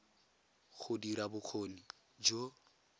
go dira ya bokgoni jo